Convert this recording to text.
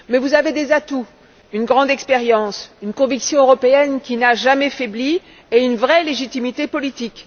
Mais vous avez des atouts une grande expérience, une conviction européenne qui n'a jamais faibli et une vraie légitimité politique.